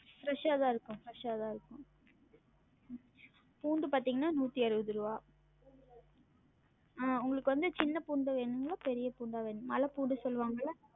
Fresh ஆ தான் இருக்கும் fresh ஆ தான் இருக்கும் பூண்டு பாத்தீங்கனா நூத்தி அறுவது ருவா அஹ் உங்களுக்கு வந்து சின்ன பூண்டு வேணுங்களா இல்ல பெரிய பூண்டா வேணுங்களா? மல பூண்டு சொல்வாங்கல்ல